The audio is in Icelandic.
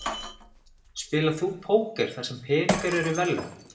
Spilar þú póker þar sem peningar eru í verðlaun?